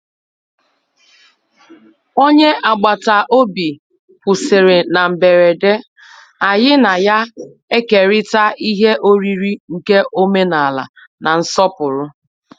Onye agbataobi kwụsiri na mgberede, anyị na ya ekerita ihe oriri nke omenala na nsọpụrụ.